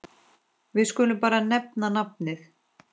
Við skulum bara nefna nafnið.